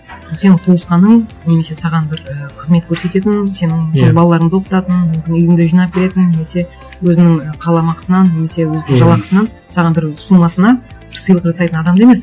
ол сенің туысқаның немесе саған бір і қызмет көрсететін сенің балаларыңды оқытатын мүмкін үйіңді жинап беретін немесе өзінің қаламақысынан немесе өзінің жалақысынан саған бір сомасына бір сыйлық жасайтын адам да емес